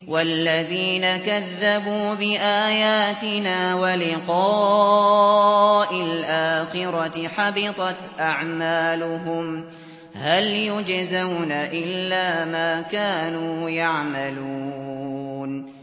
وَالَّذِينَ كَذَّبُوا بِآيَاتِنَا وَلِقَاءِ الْآخِرَةِ حَبِطَتْ أَعْمَالُهُمْ ۚ هَلْ يُجْزَوْنَ إِلَّا مَا كَانُوا يَعْمَلُونَ